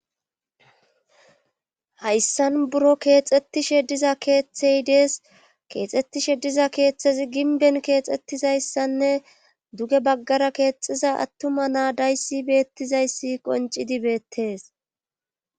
hayssan buro keexxettishe diza keeththey dees keexxettishe diza keeththezi ginben keexxettizayssanne duge baggara keexiza attuma naadayssi beettizayssi qoncidi beettees